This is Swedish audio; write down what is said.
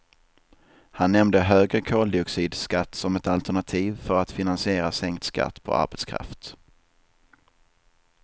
Han nämnde högre koldioxidskatt som ett alternativ för att finansiera sänkt skatt på arbetskraft.